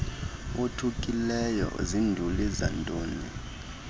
othukile zinduli zantoni